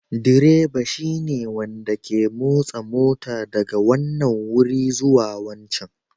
Direba shine wanda ke motsa mota daga wannan wuri zuwa wancan